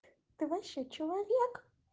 ты вообще человек